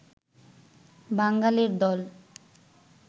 বাঙালের দল